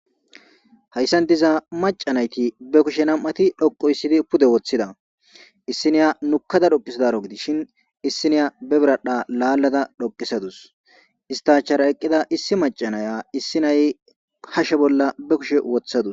Hayssan diza maca nayti be kushshe nami'atti dhoqqu histi pudde woththida issiniya nuukkada woththidaro gidishin issiniya be biradhdha laladda dhoqisadus ista achara eqqida issi naya hashshe bolla be kushshe woththadus